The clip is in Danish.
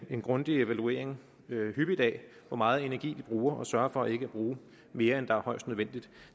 en grundig evaluering af hvor meget energi de bruger og sørger for ikke at bruge mere end højst nødvendigt